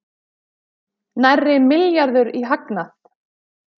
Nærri milljarður í hagnað